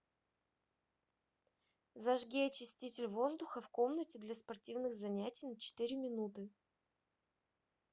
зажги очиститель воздуха в комнате для спортивных занятий на четыре минуты